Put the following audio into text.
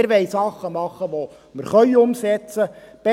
Wir wollen Dinge tun, welche wir umsetzen können.